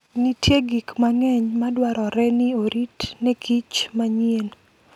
Nitie gik mang'eny madwarore ni orit ne kich manyien.